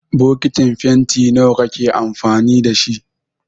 Bokitin fenti nawa kake amfani da shi?